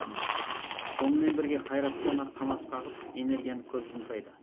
сонымен бірге қайраттана қанат қағып энергияны көп жұмсайды